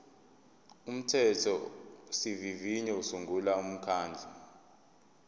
umthethosivivinyo usungula umkhandlu